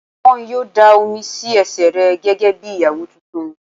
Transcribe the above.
Wọ́n yóò dáa omi sí ẹsẹ̀ rẹ gẹ́gẹ́ bí Ìyàwó tuntun.